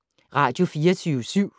Radio24syv